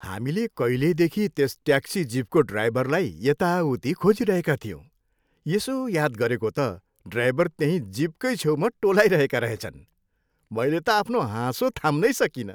हामीले कहिलेदेखि त्यस ट्याक्सी जिपको ड्राइभरलाई यताउति खोजिरहेका थियौँ, यसो याद गरेको त ड्राइभर त्यहीँ जिपकै छेउमा टोलाइरहेका रहेछन्। मैले त आफ्नो हाँसो थाम्नै सकिनँ।